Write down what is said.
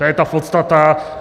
To je ta podstata.